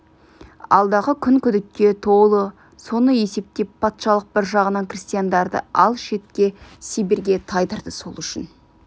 алдағы күн күдікке толы соны есептеп патшалық бір жағынан крестьяндарды алыс шетке сибирьге тайдырды сол үшін